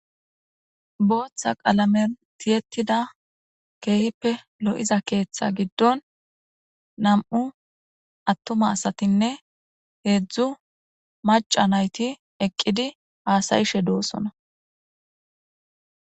booththa qalame tiyettida keeyppe lo7iza keeththa giddon nam7u attuma asatinne heedzdzu maca nayti eqqidi haasayishe doosona